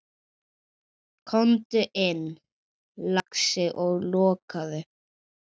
Komdu inn, lagsi, og lokaðu!